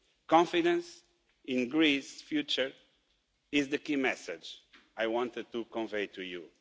Confidence in Greece's future is the key message I wanted to convey to you.